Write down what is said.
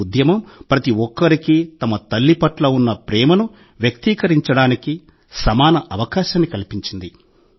ఈ ఉద్యమం ప్రతి ఒక్కరికీ తమ తల్లి పట్ల ఉన్న ప్రేమను వ్యక్తీకరించడానికి సమాన అవకాశాన్ని కల్పించింది